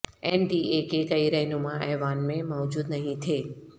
N D A کے کئی رہنما ایوان میں موجود نہیں تھے